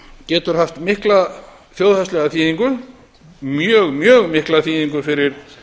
getur haft mikla þjóðhagslega þýðingu mjög mjög mikla þýðingu fyrir